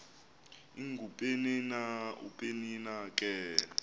ingupenina upenina ke